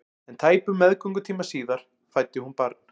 En tæpum meðgöngutíma síðar fæddi hún barn.